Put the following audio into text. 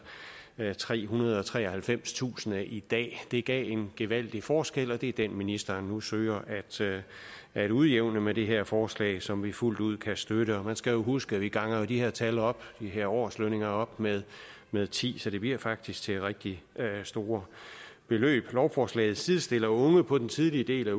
trehundrede og treoghalvfemstusind kroner i dag det giver en gevaldig forskel og det er den ministeren nu søger at udjævne med det her forslag som vi fuldt ud kan støtte man skal jo huske at vi ganger de her tal op de her årslønninger med med ti så det bliver faktisk til rigtig store beløb lovforslaget sidestiller unge på den tidlige del af